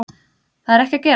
Það er ekki að gerast